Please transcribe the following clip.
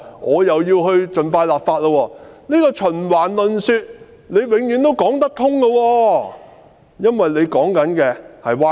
按照這個循環論說，她永遠說得通，因為她說的是歪理。